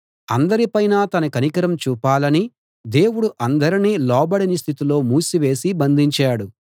అందరి పైనా తన కనికరం చూపాలని దేవుడు అందరినీ లోబడని స్థితిలో మూసివేసి బంధించాడు